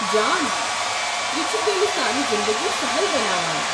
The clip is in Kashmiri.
جان، یہِ چھُ تیلہِ سانہِ زِندگی سہل بناوان۔